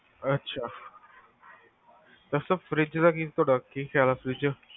ਅਛਾ, ਦੱਸੋ fridge ਦਾ ਤੁਹਾਡਾ ਕੀ ਖਿਆਲ ਆ